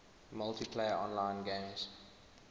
multiplayer online games